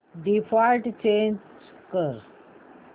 default change कर